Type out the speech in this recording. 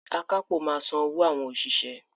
Akápò máa san owó àwọn òṣìṣẹ́.